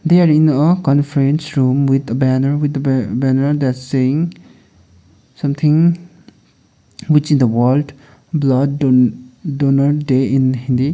they're in a conference room with banner with the ban banner that saying something which the world blood don donor day in hindi.